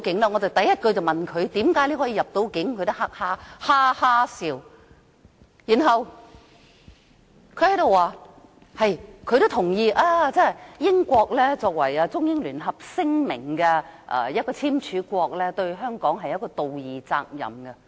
我第一句便問他為何能夠入境，他也哈哈笑，然後說他亦認同英國作為《中英聯合聲明》的簽署國，對香港有道義責任。